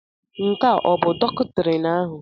Nke ọ bụ doktrin ahụ?